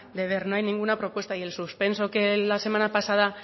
de ver no hay ninguna propuesta y el suspenso que la semana pasada